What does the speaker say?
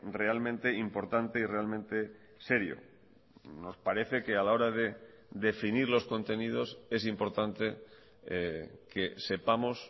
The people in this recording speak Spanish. realmente importante y realmente serio nos parece que a la hora de definir los contenidos es importante que sepamos